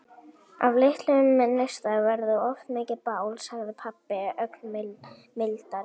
Af litlum neista verður oft mikið bál, sagði pabbi ögn mildari.